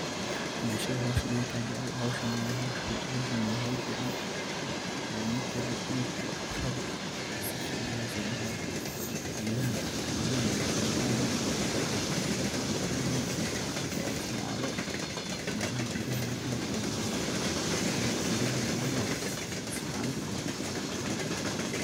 Bulshada howshan ayaga aya jecel, howshana wa howl fican oo ninki rabo uu sifican ogasobaxayo, gedahana wa geda aad ey bulshada ujecelyihin oo loisticmalo melaha guryaha hortoda ladigto oo guryaha luguhor isticmalo.